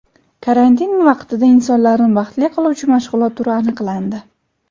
Karantin vaqtida insonlarni baxtli qiluvchi mashg‘ulot turi aniqlandi.